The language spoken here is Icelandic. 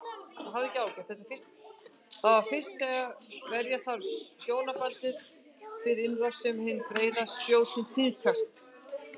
Það er fyrst þegar verja þarf hjónabandið fyrir innrás sem hin breiðari spjótin tíðkast.